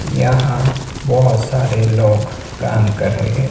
यहां बहोत सारे लोग काम कर रहे--